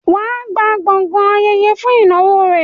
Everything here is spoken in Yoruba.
wà á gba gbọgán ayẹyẹ fún ìnáwó rẹ.